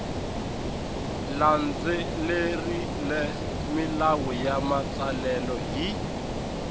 landzelerile milawu ya matsalelo hi